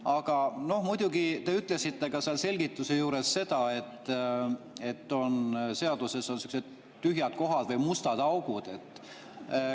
Aga muidugi te ütlesite seal selgituse juures, et seaduses on sellised tühjad kohad või mustad augud.